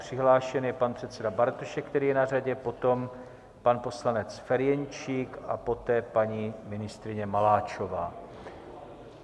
Přihlášen je pan předseda Bartošek, který je na řadě, potom pan poslanec Ferjenčík a poté paní ministryně Maláčová.